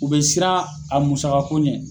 U bɛ siran a musakako ɲɛ.